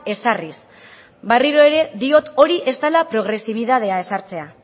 ezarriz berriro ere diot hori ez dela progresibitatea ezartzea